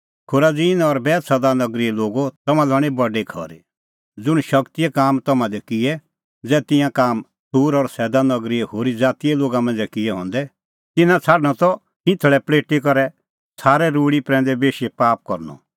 खुराजीन और बैतसैदा नगरीए लोगो तम्हां लै हणीं बडी खरी ज़ुंण शगतीए काम तम्हां दी किऐ ज़ै तिंयां काम सूर और सैदा नगरीए होरी ज़ातीए लोगा मांझ़ै किऐ हंदै तिन्नां छ़ाडणअ त खिंथल़ै पल़ेटी करै छ़ारे रूल़ी प्रैंदै बेशी पाप करनअ